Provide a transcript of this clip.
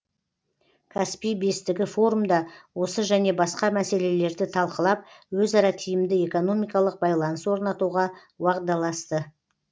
каспий бестігі форумда осы және басқа мәселелерді талқылап өзара тиімді экономикалық байланыс орнатуға уағдаласты